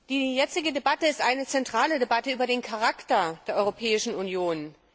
Die jetzige Debatte ist eine zentrale Debatte über den Charakter der Europäischen Union.